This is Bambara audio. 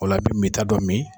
O la, min ta dɔ min.